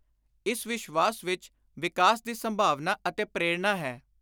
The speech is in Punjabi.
ਇਸ ਵਿਸ਼ਵਾਸ ਵਿਚ ਵਿਕਾਸ ਦੀ ਸੰਭਾਵਨਾ ਅਤੇ ਪ੍ਰੋਰਣਾ ਹੈ।